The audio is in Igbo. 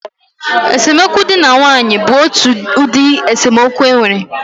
Esemokwu dị na nwaanyị bụ otu ụdị esemokwu e nwere